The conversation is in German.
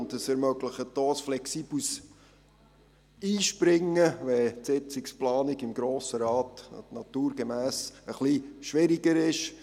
Zudem wird dadurch ein flexibles Einspringen ermöglicht, wenn die Sitzungsplanung im Grossen Rat naturgemäss etwas schwieriger ist.